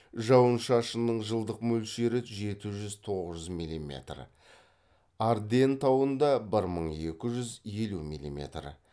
жауын шашынның жылдық мөлшері жеті жүз тоғыз жүз милиметр арденн тауында бір мың екі жүз елу милиметр